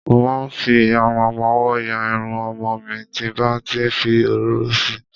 Mo ma fi ìyarun ọmọwọ́ ya Irun ọmọ mi tí n bá ti fi òróró si.